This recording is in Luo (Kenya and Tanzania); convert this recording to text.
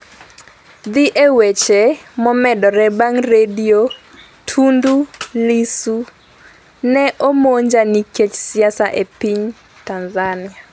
dhi e weche momedore mag redio Tundu Lissu: ne omonja nikech siasa e piny Tanzania